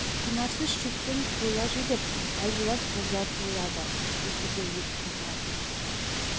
құнарсыз шөптен қойлар жүдеп әлжуаз қозылар туылады тіпті кейде өліп те қалады